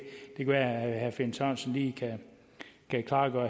være at herre finn sørensen lige kan klargøre